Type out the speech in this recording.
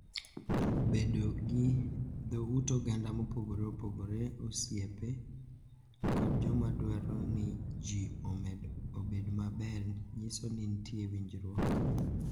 Bedo gi dho ut oganda mopogore opogore, osiepe, kod joma dwaro ni ji obed maber nyiso ni nitie winjruok,